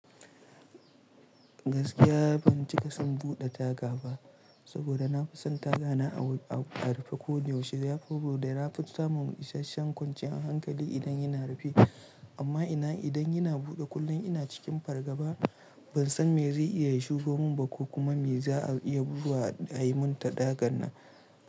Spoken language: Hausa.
Gaskiya ban cika son buɗe taga ba saboda na fi son tagana a rufe koda yaushe. Ya fi na samun isasshen kwanciyar hankali idan yana rufe. Amma idan yana buɗe kullum ina cikin fargaba ban san me zai iya shigo mun ba ko kuma me za'a iya bugowa a ayimun ta tagan nan.